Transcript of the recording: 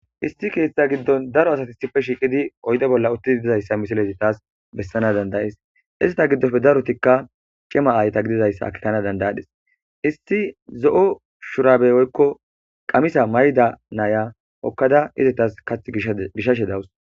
Isti keeththa giddon daro asati sife shiiqidi oydo bolla uttidi dizayssa misileti taas bessana dandayees isita giddofe darotikka cima aayta gidizayssa kitana dandayadhis isti zo'o shurabe oykko qamisa mayda naya okkada izetas kath gishashe dawus.